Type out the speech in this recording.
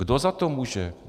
Kdo za to může?